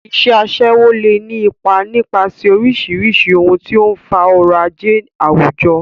Iṣẹ́ aṣẹ́wó lè ní ipa nípasẹ̀ oríṣiríṣi ohun tó ń fa ọrọ̀ ajé àwùjọ.